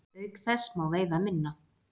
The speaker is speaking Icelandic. Auk þess má veiða minna.